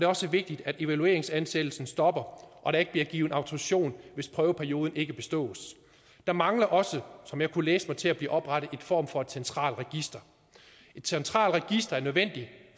også vigtigt at evalueringsansættelsen stopper og der ikke bliver givet autorisation hvis prøveperioden ikke bestås der mangler også som jeg kunne læse mig til at blive oprettet en form for centralt register et centralt register er nødvendigt